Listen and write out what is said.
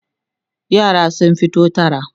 yara sun fito tara